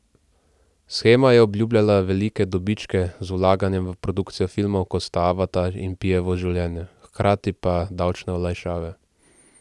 Shema je obljubljala velike dobičke z vlaganjem v produkcijo filmov, kot sta Avatar in Pijevo življenje, hkrati pa davčne olajšave.